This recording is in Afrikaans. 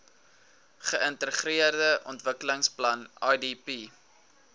geintegreerde ontwikkelingsplan idp